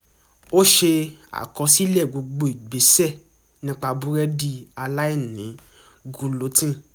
ó ṣe àkọsílẹ̀ gbogbo ìgbésẹ̀ nípa búrẹ́dì aláìní gulutín